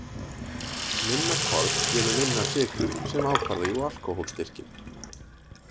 Minna korn gefur minna af sykrum sem ákvarða jú alkóhólstyrkinn.